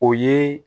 O ye